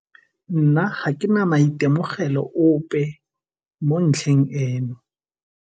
Nna ga ke na maitemogelo ope mo ntlheng eno.